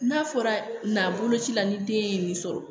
N'a fɔra na boloci la ni den ye nin sɔrɔ